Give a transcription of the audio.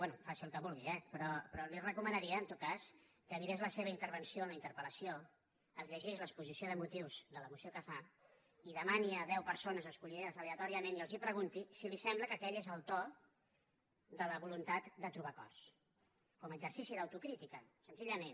bé faci el que vulgui eh però li recomanaria en tot cas que mirés la seva intervenció en la interpel·lació es llegís l’exposició de motius de la moció que fa i demani a deu persones escollides aleatòriament i els pregunti si els sembla que aquell és el to de la voluntat de trobar acords com a exercici d’autocrítica senzillament